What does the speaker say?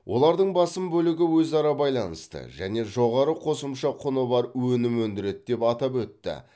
олардың басым бөлігі өзара байланысты және жоғары қосымша құны бар өнім өндіреді деп атап өтті